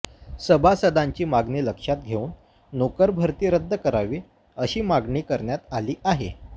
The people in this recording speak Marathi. सभासदांची मागणी लक्षात घेऊन नोकरभरती रद्द करावी अशी मागणी करण्यात आली आहे